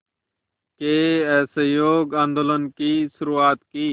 के असहयोग आंदोलन की शुरुआत की